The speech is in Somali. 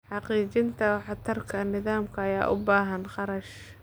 Xaqiijinta waxtarka nidaamka ayaa u baahan kharash.